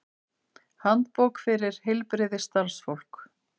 Handbók fyrir heilbrigðisstarfsfólk.